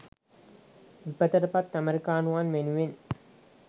විපතට පත් ඇමරිකානුවන් වෙනුවෙන්